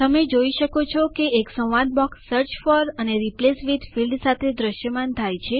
તમે જોઈ શકો છો કે એક ડાયલોગ સંવાદ બોક્સ સર્ચ ફોર અને રિપ્લેસ વિથ ફીલ્ડ ક્ષેત્ર સાથે દ્રશ્યમાન થાય છે